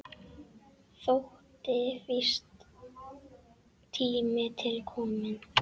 Þótti víst tími til kominn.